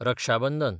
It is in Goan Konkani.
रक्षाबंदन